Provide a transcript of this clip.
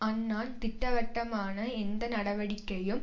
அன்னான் திட்டவட்டமான எந்த நடவடிக்கையும்